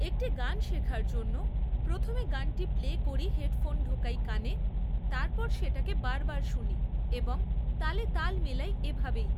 একটি গান শেখার জন্য প্রথমে গানটি প্লে করি হেডফোন ঢোকাই কানে, তারপর সেটাকে বারবার শুনি এবং তালে তাল মেলাই এভাবেই